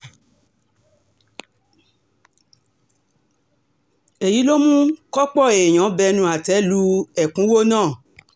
èyí ló mú kópó èèyàn bẹnu àtẹ́ lu ẹ̀kúnwọ́ náà